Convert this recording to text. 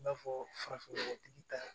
I b'a fɔ farafinnɔgɔtigi ta